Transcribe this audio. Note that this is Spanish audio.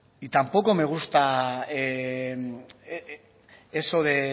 y tampoco me gusta eso de